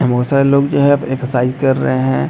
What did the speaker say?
बहुत सारे लोग जो है एक्सरसाइज कर रहे है।